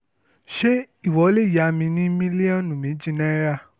ṣé ìwọ lè yá mi ní mílíọ̀nù méjì náírà